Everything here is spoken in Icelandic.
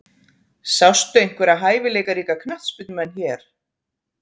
Sástu einhverja hæfileikaríka knattspyrnumenn hér?